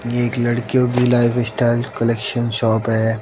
ये एक लड़कियों की लाइफस्टाइल कलेक्शन शॉप है।